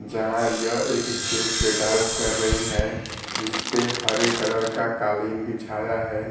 जहां यह एक स्टेज पे डांस कर रही हैं जिसपे हरे कलर का कालीन बिछाया है।